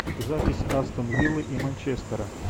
запись астон виллы и манчестера